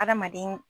Adamaden